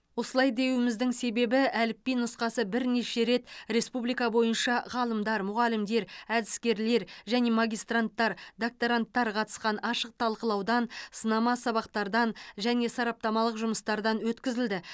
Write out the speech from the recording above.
осылай деуіміздің себебі әліпби нұсқасы бірнеше рет республика бойынша ғалымдар мұғалімдер әдіскерлер және магистранттар докторанттар қатысқан ашық талқылаудан сынама сабақтардан және сараптамалық жұмыстардан өткізілді